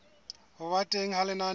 ho ba teng ha lenaneo